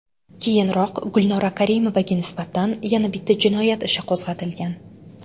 Keyinroq Gulnora Karimovaga nisbatan yana bitta jinoyat ishi qo‘zg‘atilgan.